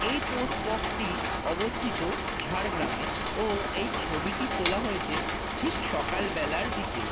এই post box টি অবস্থিত ঝাড়গ্রামে ও এই ছবিটি তোলা হয়েছে ঠিক সকাল বেলার দিকে।